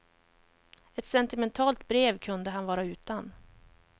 Ett sentimentalt brev kunde han vara utan.